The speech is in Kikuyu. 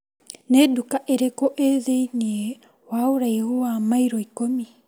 Nĩ nduka irĩkũ ĩ thĩiniĩ wa ũraihu wa mairo ikũmi ?